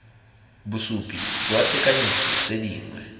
bosupi jwa tekanyetso tse dingwe